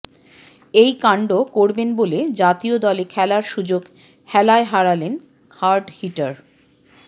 এই কাণ্ড করবেন বলে জাতীয় দলে খেলার সুযোগ হেলায় হারালেন হার্ড হিটার